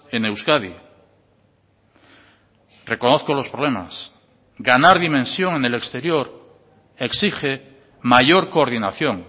en euskadi reconozco los problemas ganar dimensión en el exterior exige mayor coordinación